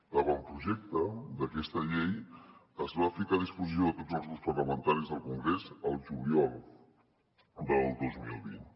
l’avantprojecte d’aquesta llei es va ficar a disposició de tots els grups parlamentaris del congrés el juliol del dos mil vint